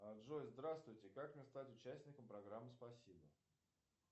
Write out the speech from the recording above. а джой здравствуйте как мне стать участником программы спасибо